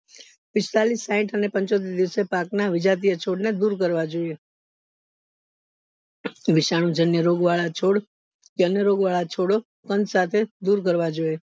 પિસ્તાલીસ સાઈઠ અને પંચોતેર દિવસે પાક ના છોડ ને દુર કરવા જોઈએ વિષમ જન્ય રોગ વાળા છોડ કે અન્ય રોગ વાળા છોડોસમય સાથે દુર કરવા જોઈએ